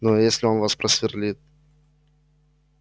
ну а если он вас просверлит